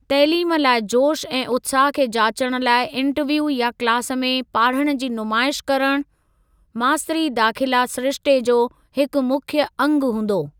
तइलीम लाइ जोश ऐं उत्साह खे जाचण लाइ इंटरव्यू या क्लास में पाढ़ण जी नुमाइश करणु, मास्तरी दाखिला सिरिश्ते जो हिकु मुख्य अंगु हूंदो।